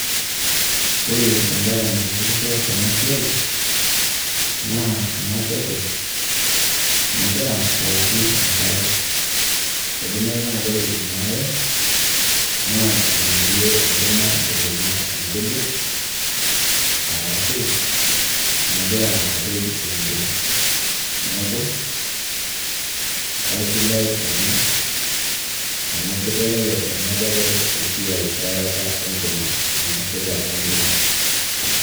Ore embae naitishipisho tena siai, naa ena teke nagira aouku enkare. Idimayu naa ore ina are naa enarie enkima naibunga inkujit, arashu nagira apej entim. Neeku aisidai ena amu kitelelek ena teke eayarata enkima nainosita entim.